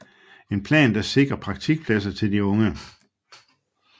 En plan der sikrer praktikpladser til de unge